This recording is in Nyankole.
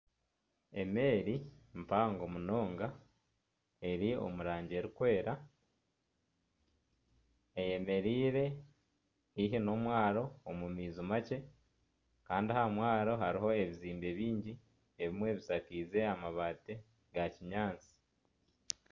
Emeeri mpango munonga, eri omu rangi erikwera, eyemereire haihi n'omwaro omu maizi makye. Kandi aha mwaro hariho ebizimbe bingi, ebimwe bishakaize amabaati ga kinyaatsi.